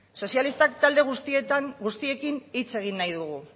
sozialistak talde guztiekin hitz egin nahi dugu